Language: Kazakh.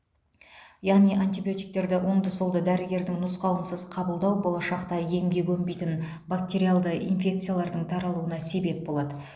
яғни антибиотиктерді оңды солды дәрігердің нұсқауынсыз қабылдау болашақта емге көнбейтін бактериалды инфекциялардың таралуына себеп болады